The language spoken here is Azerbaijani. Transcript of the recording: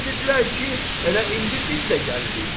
Mənə dedilər ki, elə indi biz də gəlirik.